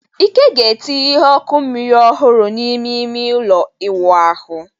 Ike ga-etinye ihe ọkụ mmiri ọhụrụ n'ime ime ụlọ ịwụ ahụ.